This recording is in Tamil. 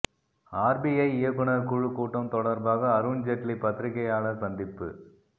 ஆர்பிஐ இயக்குநர் குழு கூட்டம் தொடர்பாக அருண் ஜெட்லி பத்திரிகையாளர் சந்திப்பு